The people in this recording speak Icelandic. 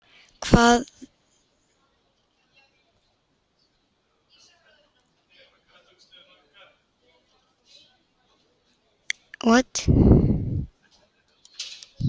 Hvað þýðir ekki?